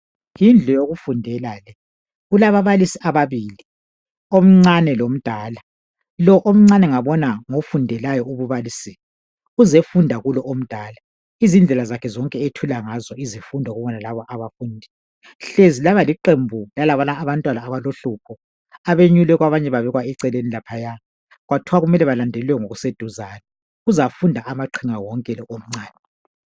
yindlu yokufundela le ,kulababalisi ababili omncane lomdala ,lo omncane ngabona ngofundelayo ububalisi ,uzefunda kolo omdala izindlela zakhe zonke ethula ngazo izifundo ngoba lalabo abafundi hlezi laba liqembu lalabana abantwana abaluhlupho abenyulwe kwabanye babekwa eceleni laphaya kwathiwa kumele balandelelwe ngokuseduzane ,uzafunda amaqhinga wonke lo omncane